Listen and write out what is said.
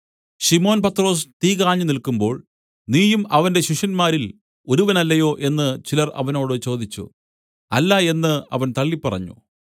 ശിമോൻ പത്രൊസ് തീ കാഞ്ഞുനില്ക്കുമ്പോൾ നീയും അവന്റെ ശിഷ്യന്മാരിൽ ഒരുവനല്ലയോ എന്നു ചിലർ അവനോട് ചോദിച്ചു അല്ല എന്നു അവൻ തള്ളിപറഞ്ഞു